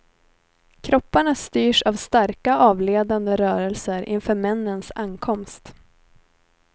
Kropparna styrs av starka avledande rörelser inför männens ankomst.